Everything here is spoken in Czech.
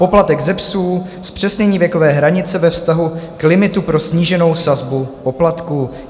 Poplatek ze psů - zpřesnění věkové hranice ve vztahu k limitu pro sníženou sazbu poplatku.